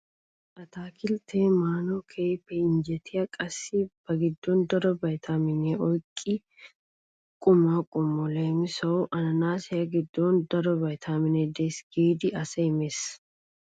Ataakilttee maanawu keehin injjetiya qassi ba giddon daro viitamineta oyqqiya quma qommo. Leemisuwawu anaanaasiya giddon daro viitaminee deesi giidi asay mees.